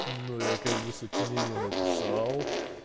ну я как бы сочинение написал